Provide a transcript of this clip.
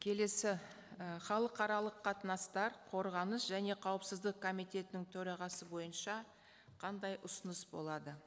келесі і халықаралық қатынастар қорғаныс және қауіпсіздік комитетінің төрағасы бойынша қандай ұсыныс болады